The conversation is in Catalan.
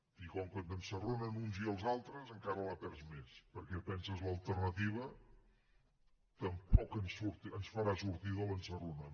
i com que t’ensarronen els uns i els altres encara la perds més perquè penses l’alternativa tampoc ens farà sortir de l’ensarronada